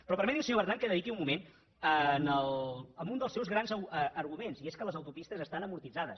però permeti’m senyor bertran que dediqui un moment a un dels seus grans arguments que és que les autopistes estan amortitzades